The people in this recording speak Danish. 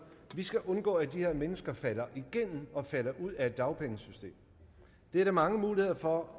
at vi skal undgå at de her mennesker falder igennem og falder ud af dagpengesystemet det er der mange muligheder for